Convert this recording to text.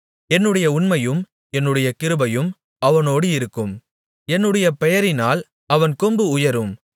என்னுடைய உண்மையும் என்னுடைய கிருபையும் அவனோடு இருக்கும் என்னுடைய பெயரினால் அவன் கொம்பு உயரும்